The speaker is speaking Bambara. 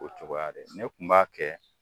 O cogoya dɛ ne tun b'a kɛ